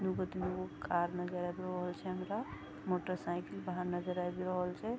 दू गो तीन गो कार नजर आब रहल छै हमरा मोटरसाइकिल बाहर नजर आब रहल छै।